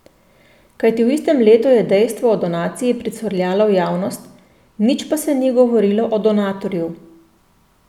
Kajti v istem letu je dejstvo o donaciji pricurljalo v javnost, nič pa se ni govorilo o donatorju.